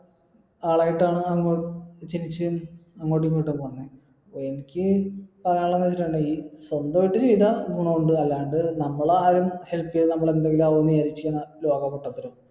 അങ്ങോട്ടു ഇങ്ങോട്ടു പറഞ്ഞെ എനിക്ക് പറയാനുള്ളത് വെച്ചിട്ടിണ്ടെങ്കി സ്വന്തായിട്ട് ചെയ്ത ഗുണം ഉണ്ട് അല്ലാണ്ട് നമ്മളെ ആരും help ചെയ്ത് നമ്മൾ എന്തെങ്കിലും ആവും വിചാരിച്ചു കഴിഞ്ഞാൽ ലോക പൊട്ടത്തരം